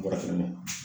Farafinna